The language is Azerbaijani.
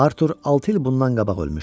Artur altı il bundan qabaq ölmüşdü.